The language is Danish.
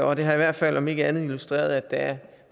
og den har i hvert fald om ikke andet illustreret at der er